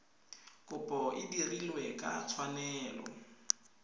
kopo e dirilwe ka tshwanelo